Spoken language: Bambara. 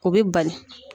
O bɛ bali